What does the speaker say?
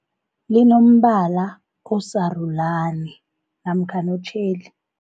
Linombala osarulani namkhana otjheli.